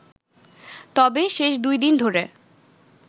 তবে শেষ দুই দিন ধরে